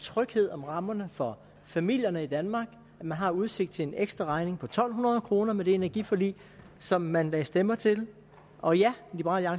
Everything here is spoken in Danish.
tryghed om rammerne for familierne i danmark at man har udsigt til en ekstra regning på to hundrede kroner med det energiforlig som man lagde stemmer til og ja liberal